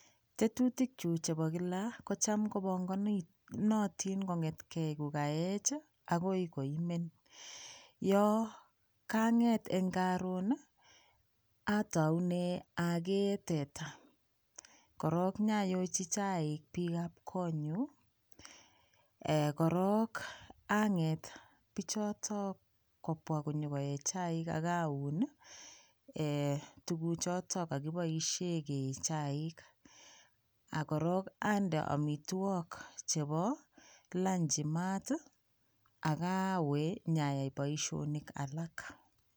Tetutikyuk chebo kila kocham kobongonotin kongtkei ko kaech agoi koimen. Yo kanget eng karun, ataune agee teta korok inyayochi chaik biikab konyu. Korok anget biichoto kobwa konyokoe chaik ak aun tuguchoto kagiboisie kee chaik ak korok ande amitwogik chebo lanchi mat ak awe nyayai boisionik alak.